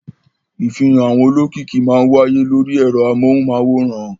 Ìfihàn àwọn olókìkí máa wáyé lórí ẹ̀rọ amóhùmáwòhán.